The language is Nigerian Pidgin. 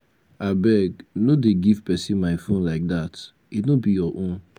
abeg no dey give person my phone like dat. e no be your own.